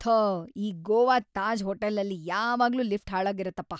ಥೋ ಈ ಗೋವಾದ್ ತಾಜ್ ಹೋಟೆಲಲ್ಲಿ ಯಾವಾಗ್ಲೂ ಲಿಫ್ಟ್ ಹಾಳಾಗಿರುತ್ತಪ.